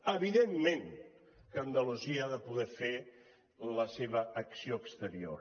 evidentment que andalusia ha de poder fer la seva acció exterior